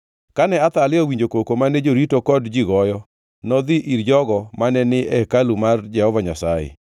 Kane Athalia owinjo koko mane jorito kod ji goyo, nodhi ir jogo mane ni e hekalu mar Jehova Nyasaye.